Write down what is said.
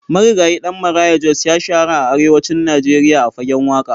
Marigayi Ɗan Maraya Jos ya shahara a arewacin Najeriya a fagen waƙa.